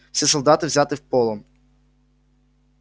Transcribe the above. все солдаты взяты в полон